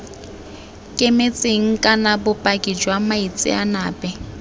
kemetseng kana bopaki jwa moitseanape